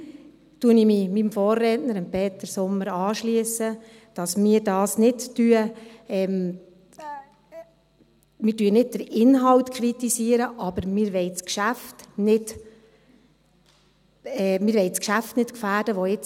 Hier schliesse ich mich meinem Vorredner, Peter Sommer, an, dass wir da nicht den Inhalt kritisieren, aber dass wir das Geschäft, das jetzt im Gang ist, nicht gefährden wollen.